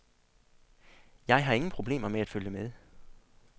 Jeg har ingen problemer med at følge med.